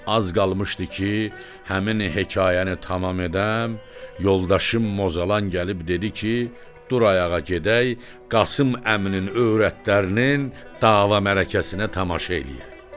Az qalmışdı ki, həmin hekayəni tamam edəm, yoldaşım Mozalan gəlib dedi ki, dur ayağa gedək, Qasım əminin öyrətlərinin dava mərəkəsinə tamaşa eləyək.